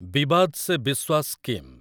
ବିବାଦ୍ ସେ ବିଶ୍ୱାସ୍ ସ୍କିମ୍